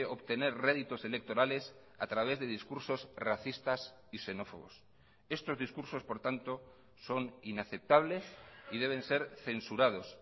obtener réditos electorales a través de discursos racistas y xenófobos estos discursos por tanto son inaceptables y deben ser censurados